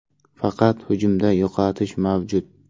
Faqat hujumda yo‘qotish mavjud.